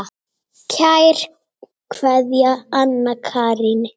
Kær kveðja, Anna Karín.